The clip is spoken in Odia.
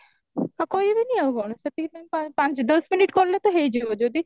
ଆଉ କହିବେନି ଆଉ କଣ ସେତିକି time ପା ପାଞ୍ଚ ଦଶ minute କଲେ ତ ହେଇଯିବ ଯଦି